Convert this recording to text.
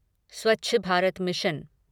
Swachh Bharat mission